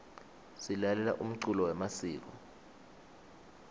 silalela umculo yemasiko